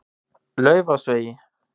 Laufásvegi